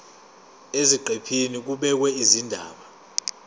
eziqephini kubhekwe izindaba